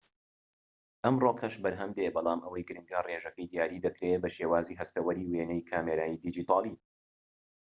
ئەمڕۆکەش بەرهەمدێت بەڵام ئەوەی گرنگە ڕێژەکەی دیاری دەکرێت بە شێوازی هەستەوەری وێنەی کامێرەی دیجیتاڵی